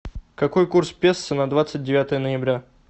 какой курс песо на двадцать девятое ноября